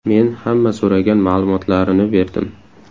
Men hamma so‘ragan ma’lumotlarini berdim.